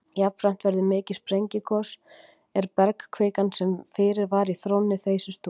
Jafnframt verður mikið sprengigos er bergkvikan, sem fyrir var í þrónni, þeysist út.